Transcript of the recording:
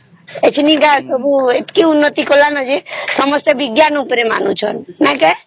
ସବୁ ଏତିକି ଉନ୍ନତି କଲା ଯେ ସବୁ ବିଜ୍ଞାନ ଉପରେ ମାନୁଛନ୍ତ